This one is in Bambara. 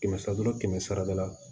Kɛmɛ sara kɛmɛ sara da la